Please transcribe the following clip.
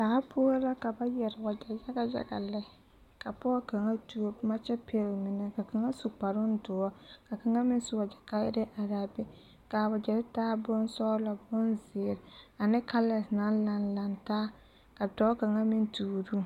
Daa poɔ la ka ba yɛr waɡyɛ yaɡa yaɡa kɛka pɔɡe kaŋa tuo boma kyɛ pɛɡele mine ka kaŋa su kparoo doɔre ka kaŋa meŋ su waɡyɛ kayɛrɛɛ are a be ka a waɡyɛre taa bonsɔɡelɔ ane bonziiri ane kalɛs naŋ lanlantaa ka dɔɔ kaŋa meŋ tuuro o.